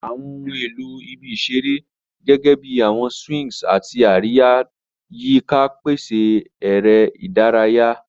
Awọn ohun elo ibi isere, gẹgẹbi awọn swings ati ariya-lọ-yika, pese eré ìdárayá.